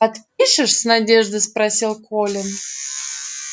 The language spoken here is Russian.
подпишешь с надеждой спросил колин